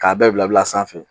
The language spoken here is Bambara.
K'a bɛɛ bila bila a sanfɛ.